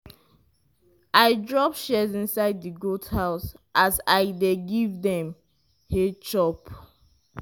i drop shears inside di goat house as i dey give dem hay chop.